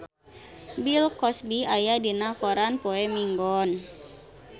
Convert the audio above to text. Bill Cosby aya dina koran poe Minggon